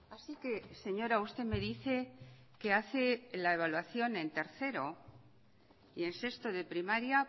así que señora usted me dice que hace la evaluación en tercero y en sexto de primaria